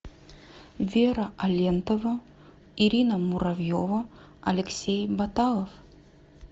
вера алентова ирина муравьева алексей баталов